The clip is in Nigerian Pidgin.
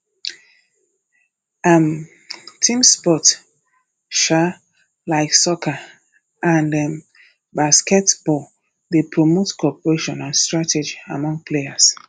um team sports um like soccer and um basketball dey promote cooperation and strategy among players